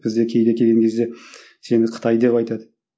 бізде кейде келген кезде сені қытай деп айтады